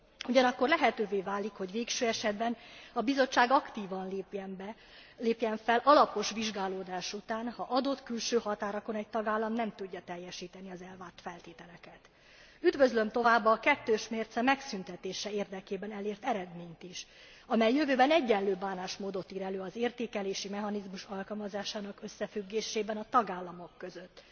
Ugyanakkor lehetővé válik, hogy végső esetben a Bizottság aktívan lépjen fel alapos vizsgálódás után, ha adott külső határokon egy tagállam nem tudja teljesíteni az elvárt feltételeket. Üdvözlöm továbbá a kettős mérce megszüntetése érdekében elért eredményt is, amely a jövőben egyenlő bánásmódot ír elő az értékelési mechanizmus alkalmazásának összefüggésében a tagállamok között.